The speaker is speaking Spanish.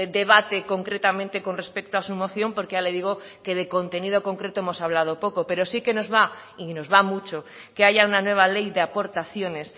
debate concretamente con respecto a su moción porque ya le digo que de contenido concreto hemos hablado poco pero sí que nos va y nos va mucho que haya una nueva ley de aportaciones